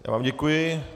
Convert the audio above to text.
Já vám děkuji.